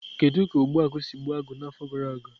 Kedu ka Ogbu agu si gbuo agụ n'afọ gara aga?